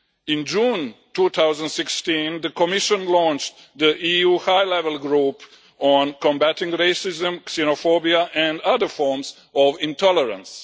In June 2016 the Commission launched the EU High Level Group on combating racism, xenophobia and other forms of intolerance.